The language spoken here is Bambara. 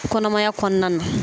Kɔnɔmaya kɔnɔna na